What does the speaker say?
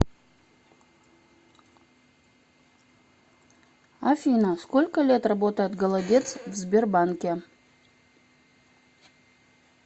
афина сколько лет работает голодец в сбербанке